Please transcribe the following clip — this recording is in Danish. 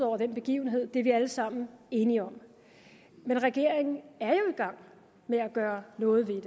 over den begivenhed det er vi alle sammen enige om men regeringen er jo i gang med at gøre noget ved